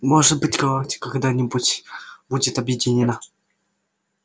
может быть галактика когда-нибудь будет объединена